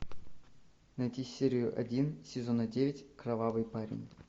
найти серию один сезона девять кровавый парень